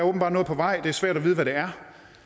åbenbart noget på vej det er svært at vide hvad det er